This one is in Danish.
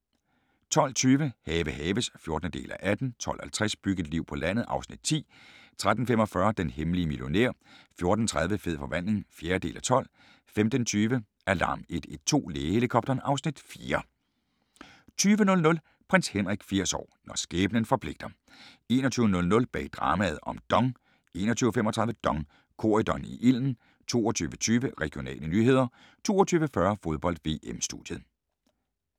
12:20: Have haves (14:18) 12:50: Byg et liv på landet (Afs. 10) 13:45: Den hemmelige millionær 14:30: Fed forvandling (4:12) 15:20: Alarm 112 – Lægehelikopteren (Afs. 4) 20:00: Prins Henrik 80 år – når skæbnen forpligter 21:00: Bag dramaet om DONG 21:35: DONG – Corydon i ilden 22:20: Regionale nyheder 22:40: Fodbold: VM - studiet